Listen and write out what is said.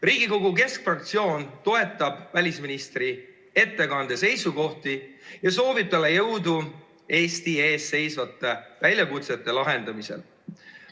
Riigikogu keskfraktsioon toetab välisministri ettekande seisukohti ja soovib talle jõudu Eesti ees seisvate väljakutsete lahendamisel.